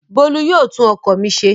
Bólú yóò tún ọkọ̀ mi ṣe.